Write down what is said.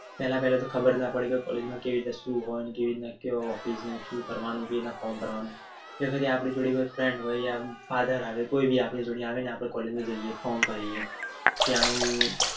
પેહલા પેહેલ તો ખબર ના પડી કે College માં કેવી રીતે શું હોય કેવી રીતે હોય કેવીરીતના form ભરવાનું જોકે આપની જોડે કોઈ friend હોય આમ આધાર આવે કોઈ પણ આપડે જોડે આવે ને આપણે College માં જઈએ form ભરીએ કે હારું